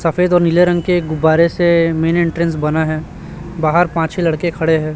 सफेद और नीले रंग के गुब्बारे से मेन एंट्रेंस बना है बाहर पांच छ लड़के खड़े हैं।